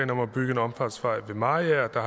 om at bygge en omfartsvej ved mariager